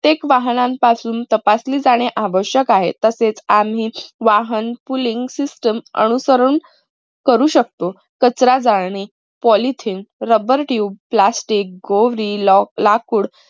प्रत्येक वाहनांपासून तपासली जाणे आवश्यक आहे. तसेच आम्हीच वाहन pooling system अनुसरून. करू शकतो. कचरा जाळणे polythene, rubber tube, plastic, गोवरी, लाकूड